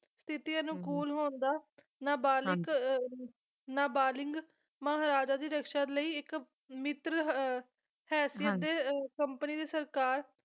ਸਥਿਤੀ ਅਨੁਕੂਲ ਹੋਣ ਦਾ ਨਾਬਾਲਿਕ ਅਹ ਨਾਬਾਲਿਗ ਮਹਾਰਾਜਾ ਦੀ ਰਕਸ਼ਾ ਲਈ ਇੱਕ ਮਿੱਤਰ ਅਹ ਹੈਸੀਅਤ ਦੇ ਕੰਪਨੀ ਦੀ ਸਰਕਾਰ